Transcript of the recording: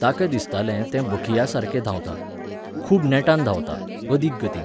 ताका दिसतालें तें बखियासारकें धांवता, खूब नेटान धांवता, अदीक गतीन.